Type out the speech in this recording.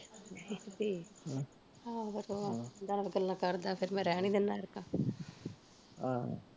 ਠੀਕ ਆਹੋ ਹਮ ਫਿਰ ਸਗੋਂ ਦੱਸ ਗੱਲਾਂ ਕਰਦਾ ਫਿਰ ਮੈਂ ਰਹਿਣ ਈ ਦਿੰਦਾ ਐਤਕਾਂ ਆਹ